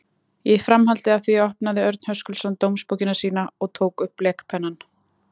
Í framhaldi af því opnaði Örn Höskuldsson dómsbókina sína og tók upp blekpennann.